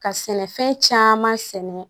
Ka sɛnɛfɛn caman sɛnɛ